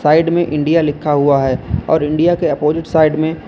side में India लिखा हुआ है और इंडिया के अपोजिट साइड में --